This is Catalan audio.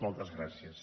moltes gràcies